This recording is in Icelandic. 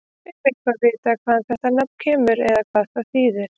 Er eitthvað vitað hvaðan þetta nafn kemur eða hvað það þýðir?